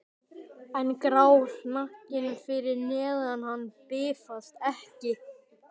En grár hnakkinn fyrir neðan hann bifast ekki.